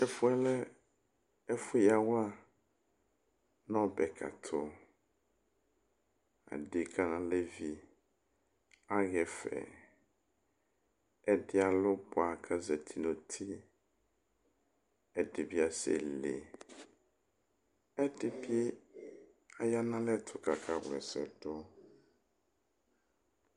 Ɛfuyɛ lɛ ɛfuyawla nu ɔbɛkã tu Áɖeka, álevi aɣa ɛfɛ Ɛdĩ ãlu buã ku azati nu ũtí Ɛdi bi asɛle, ɛdi bi aya nu alɛtu ku aka wlã ɛsɛdu